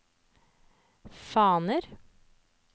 faner